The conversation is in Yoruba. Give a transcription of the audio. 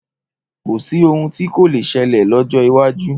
Kò sí ohun tí kò le ṣẹlẹ̀ lọ́jọ́ iwájú.